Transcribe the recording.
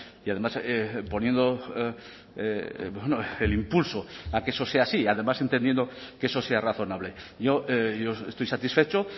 y además poniendo el impulso a que eso sea así además entendiendo que eso sea razonable yo estoy satisfecho